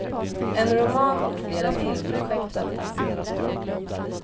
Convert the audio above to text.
En roman och flera filmprojekt väntar.